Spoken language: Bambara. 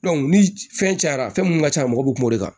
ni fɛn cayara fɛn mun ka ca a mɔgɔ bi kuma o kan